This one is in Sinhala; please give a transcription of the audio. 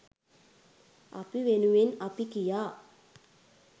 අපි වෙනුවෙන් අපි කියා